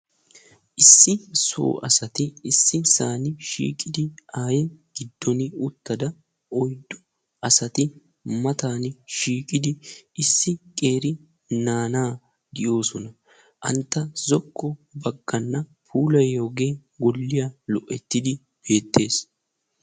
issi so asati issisan shiiqidi ayiya giddon uttada oyiddu asati matan shiiqidi issi qeeri naanaa giyosona. antta zokko bagganna puulayiyage golliya lo'ettidi beettes.